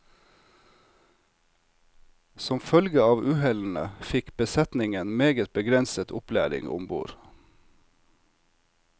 Som følge av uhellene fikk besetningen meget begrenset opplæring ombord.